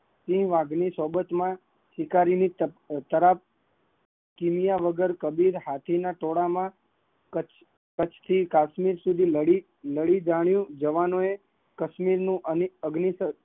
તે વાઘ ની સોબત માં શિકારી કિન્યા વગર હાથી ના ઘોડા ના પગ માં કત્છ થી કાશ્મીર સુધી લડી જાણિયું, અગ્નિશન